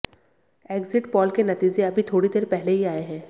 exit poll के नतीजे अभी थोड़ी देर पहले ही आए हैं